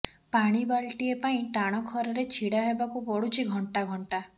ପାଣି ବାଲଟିଏ ପାଣି ଟାଣ ଖରାରେ ଛିଡା ହେବାକୁ ପଡୁଛି ଘଂଟା ଘଂଟା